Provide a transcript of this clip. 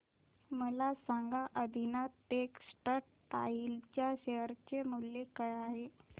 मला सांगा आदिनाथ टेक्स्टटाइल च्या शेअर चे मूल्य काय आहे